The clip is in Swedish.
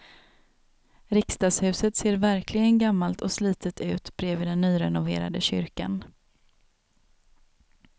Riksdagshuset ser verkligen gammalt och slitet ut bredvid den nyrenoverade kyrkan.